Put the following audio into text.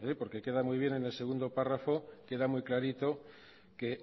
queda muy bien en el segundo párrafo queda muy clarito que